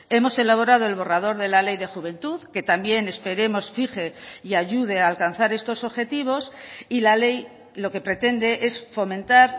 hemos elaborado el borrador de la ley de juventud que también esperemos fije y ayude a alcanzar estos objetivos y la ley lo que pretende es fomentar